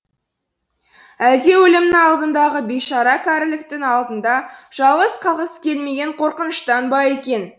әлде өлімнің алдындағы бейшара кәріліктің алдында жалғыз қалғысы келмеген қорқыныштан ба екен